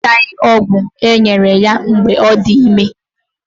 Ọ ṅụchaghị ọgwụ enyere ya mgbe ọ dị ime